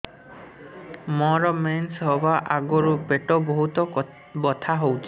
ମୋର ମେନ୍ସେସ ହବା ଆଗରୁ ପେଟ ବହୁତ ବଥା ହଉଚି